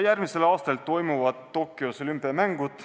Järgmisel aastal toimuvad Tokyos olümpiamängud.